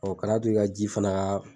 Ɔn ka na to i ka ji fana